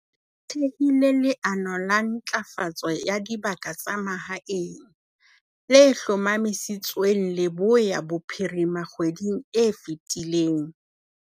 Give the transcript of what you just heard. A thehile leano la Ntlafatso ya Dibaka tsa Mahaeng, le hlomamisitsweng Leboya Bophirima kgweding e fetileng.